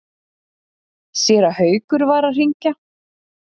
Séra Haukur var að hringja.